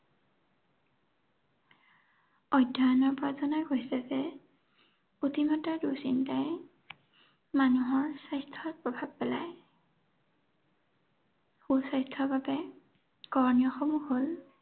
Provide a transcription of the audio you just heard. অধ্যয়নৰ অতিমাত্ৰা দুঃচিন্তাই মানুহৰ স্বাস্থ্যত প্ৰভাৱ পেলায়। সুস্বাস্থ্যৰ বাবে কৰণীয়সমূহ হ'ল